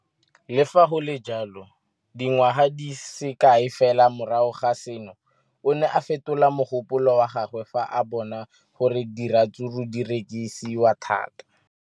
Le fa go le jalo, dingwaga di se kae fela morago ga seno, o ne a fetola mogopolo wa gagwe fa a bona gore diratsuru di rekisiwa thata.